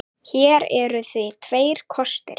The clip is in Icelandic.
Hér eru því tveir kostir